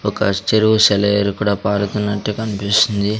ఒక చెరువు సెలయేరు కుడా పారుతున్నట్టే కన్పిస్తుంది.